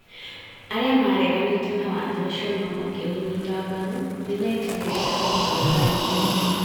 arĩa maareganĩte na watho ũcio no makĩũnyita mbaru, nĩ metigĩrĩĩtie kũhũrwo nĩ ũteti ,